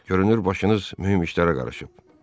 Görünür başınız mühüm işlərə qarışıb.